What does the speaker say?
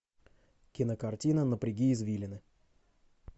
кинокартина напряги извилины